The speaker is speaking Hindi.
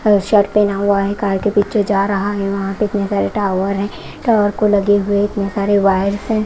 अ शर्ट पहना हुआ है कार के पीछे जा रहा है वहाँ पे इतने सारे टावर है टावर को लगे हुए इतने सारे वायर्स हैं।